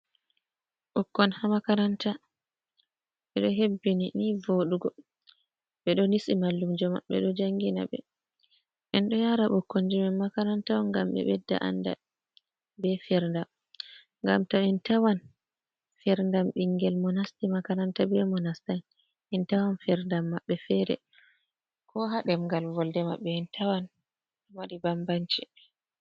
Ɓukkon haa makaranta ɓe ɗo hebbini nii vooɗugo ɓe ɗo nisi mallumjo maɓɓe ɗo jangina ɓe. En ɗo yara ɓukkonji men makaranta on ngam ɓe ɓedda andal be ferndam ngam to en tawan ferndam ɓingel monasti makaranta be mo nastan en tawan ferndam maɓɓe feere, ko haa ɗemgal volde maɓɓe en tawan wadi bambanci.